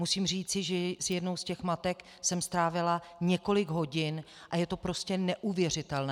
Musím říci, že s jednou z těch matek jsem strávila několik hodin a je to prostě neuvěřitelné.